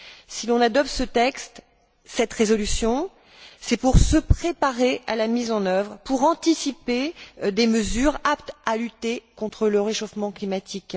Si l'on adopte ce texte, cette résolution, c'est pour nous préparer à la mise en œuvre et anticiper des mesures aptes à lutter contre le réchauffement climatique.